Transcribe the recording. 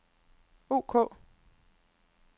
ok